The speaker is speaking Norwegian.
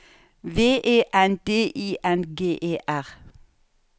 V E N D I N G E R